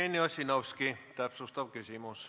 Jevgeni Ossinovski, täpsustav küsimus.